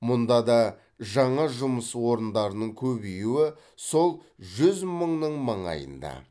мұнда да жаңа жұмыс орындарының көбеюі сол жүз мыңның маңайында